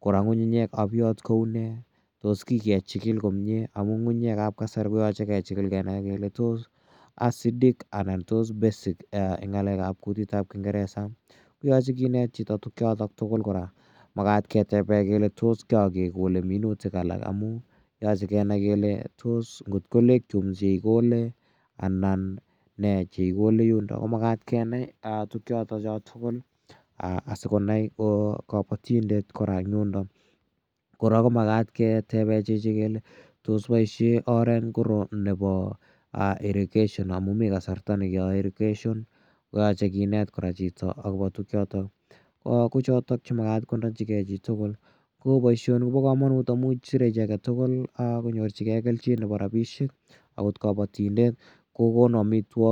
kora ng'ung'unyek ap yot ko u ne? Tos kikechikil komye? Amu ng'ung'unyek ap kasari ko yache kechikil kenai kele tos acidic anan tos basic eng' ng'alek ap kutit ap kingeresa. Koyache kinet chito tugchotok tugul kora. Makat ketepe kele to ki ake kole minutik alak i amu yache ke nai kele tos ngot ko legume che ikole anan ne che ikole eng' yundok ko makat kenai tugchotok tugul asikonai kapatindet kora eng' yundok. Kora ko makat ketepe chichi kele tos poishe oret ngiro nepo irrigation amu mi kasarta ne keyae irrigation ko yache kinet chito kora akopa chotok. Ko chotok che makat ko nachigei chi tugul. Ko poishoni ko pa kamanut amu sire chi age tugul konyorchigei kelchin nepo rapishek akot kapatindet ko konu amitwogik.